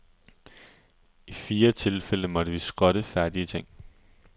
I fire tilfælde måtte vi skrotte færdige ting.